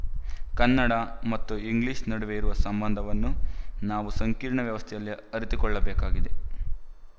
ಕನ್ನಡ ಮತ್ತು ಇಂಗ್ಲಿಶ ನಡುವೆ ಇರುವ ಸಂಬಂಧವನ್ನು ನಾವು ಸಂಕೀರ್ಣ ವ್ಯವಸ್ಥೆಯಲ್ಲಿ ಅರಿತುಕೊಳ್ಳಬೇಕಾಗಿದೆ